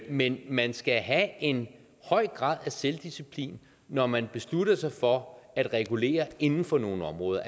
men man skal have en høj grad af selvdisciplin når man beslutter sig for at regulere inden for nogle områder